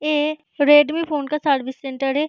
ये Redmi phone का service centre है।